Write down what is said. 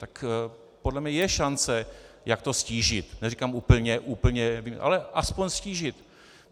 Tak podle mě je šance, jak to ztížit, neříkám úplně, ale alespoň ztížit.